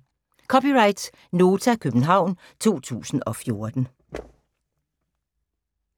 (c) Nota, København 2014